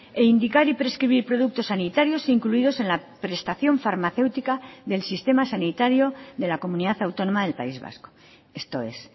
e indicar y prescribir productos sanitarios incluidos en la prestación farmacéutica del sistema sanitario de la comunidad autónoma del país vasco esto es